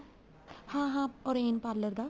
ਹਾਂ ਹਾਂ orange parlor ਦਾ